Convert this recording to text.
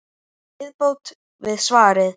Viðbót við svarið